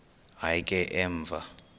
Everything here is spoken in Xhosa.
hayi ke emva